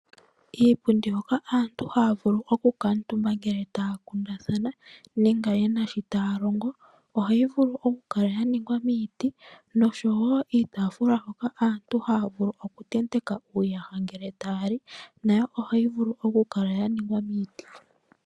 Iipundi mbika aantu hayavulu oku kuutumba ngele taya kundathana nenge yena shi tayalongo ohayi vulu okukala yaningwa miiti oshowo iitaafula hoka aantu haya vulu oku tenteka uuyaha ngele tayali nayo ohayi vulu okukala yaningwa miiti.